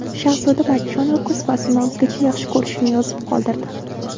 Shahzoda Matchonova kuz faslini o‘zgacha yaxshi ko‘rishini yozib qoldirdi.